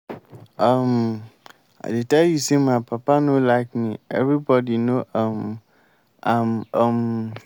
um i dey tell you say my papa no like me everybody no um am. um